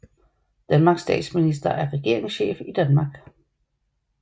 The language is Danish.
Danmarks statsminister er regeringschef i Danmark